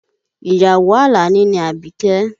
Ìyàwó Àlàní ni Àbíkẹ́